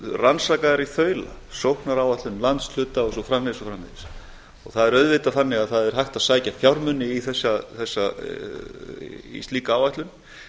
rannsakaðar í þaula sóknaráætlun landshluta og svo framvegis og svo framvegis og það er auðvitað þannig að það er hægt að sækja fjármuni í slíka áætlun